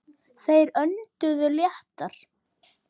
Þeir önduðu léttar.